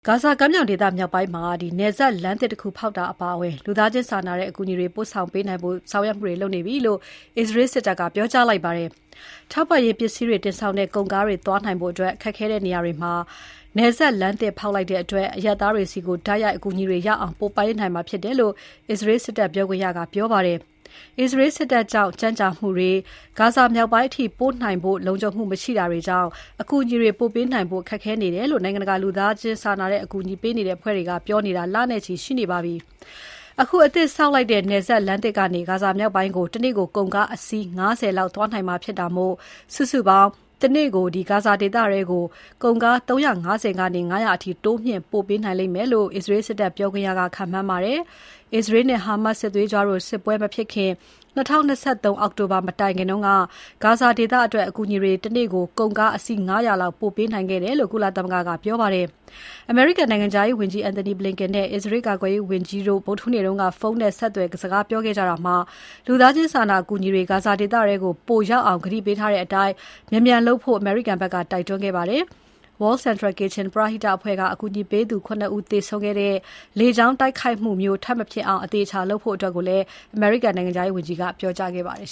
ဂါဇာကမ်းမြောင်ဒေသ မြောက်ပိုင်းမှာ နယ်စပ်လမ်းသစ်တခုဖောက်တာအပါအဝင် လူသားချင်းစာနာတဲ့အကူအညီတွေ ပို့နိုင်ဖို့ဆောင်ရွက်မှုတွေ လုပ်နေပြီလို့ အစ္စရေးစစ်တပ်က ဒီနေ့ကြေညာပါတယ်။ ထောက်ပံ့ရေးပစ္စည်းတွေတင်ဆောင်တဲ့ ကုန်ကားတွေသွားနိုင်ဖို့ ခက်ခဲတဲ့နေရာမှာ နယ်စပ်လမ်းသစ်ဖောက်လိုက်တဲ့အတွက် အရပ်သားတွေဆီကို တိုက်ရိုက်အကူအညီတွေရောက်အောင် ပို့နိုင်မှာဖြစ်တယ်လို့ အစ္စရေးစစ်တပ်ပြောခွင့်ရက ပြောပါတယ်။ အစ္စရေးစစ်တပ်ကြောင့် ကြန့်ကြာမှုတွေ၊ ဂါဇာမြောက်ပိုင်းအထိပို့နိုင်ဖို့ လုံခြုံမှု မရှိတာတွေကြောင့် အကူအညီတွေ ပို့ပေးဖို့ ခက်ခဲနေတယ်လို့ နိုင်ငံတကာ လူသားချင်းစာနာအကူအညီပေးတဲ့ အဖွဲ့တွေ ပြောနေတာ လနဲ့ချီ ရှိနေပါပြီ။ အခုအသစ်ဆောက်လိုက်တဲ့ နယ်စပ်လမ်းသစ်ကနေ ဂါဇာမြောက်ပိုင်းကို တနေ့ကို ကုန်ကား အစီး ၅၀ လောက်သွားနိုင်မှာဖြစ်တာမို့ စုစုပေါင်း တနေ့ကို ကုန်ကား ၃၅၀ ကနေ ၅၀၀ စီးရေအထိ တိုးမြှင့် ပို့ပေးနိုင်လိမ့်မယ်လို့ အစ္စရေးစစ်တပ်ပြောခွင့်ရက ခန့်မှန်းပါတယ်။ အစ္စရေးနဲ့ ဟာမတ်စ် စစ်သွေးကြွတို့ စစ်ပွဲမဖြစ်ခင် ၂၀၂၃ အောက်တိုဘာ မတိုင်ခင်က ဂါဇာဒေသအတွက် အကူအညီတွေ တနေ့ကို ကုန်ကားအစီး ၅၀၀ လောက် ပို့ပေးနိုင်ခဲ့တယ်လို့ ကုလသမဂ္ဂက ပြောပါတယ်။ အမေရိကန်နိုင်ငံခြားရေးဝန်ကြီး Antony Blinken နဲ့ အစ္စရေးကာကွယ်ရေးဝန်ကြီး Yoav Gallant တို့ ဗုဒ္ဓဟူးနေ့က ဖုန်းနဲ့ဆက်သွယ်စကားပြောခဲ့ကြတာမှာ လူသားချင်းစာနာအကူအညီတွေ ဂါဇာဒေသထဲကို ပိုရောက်အောင်ကတိပေးထားတဲ့အတိုင်း မြန်မြန်လုပ်ဖို့ အမေရိကန်ဘက်က တိုက်တွန်းခဲ့ပါတယ်။ World Central Kitchen ပရဟိတအဖွဲ့က အကူအညီပေးသူ ၇ ဦးသေဆုံးခဲ့တဲ့ လေကြောင်းတိုက်ခိုက်မှုမျိုး ထပ်မဖြစ်အောင် အသေအချာလုပ်ဖို့လည်း အမေရိကန်နိုင်ငံခြားရေးဝန်ကြီးက ပြောကြားခဲ့ပါတယ်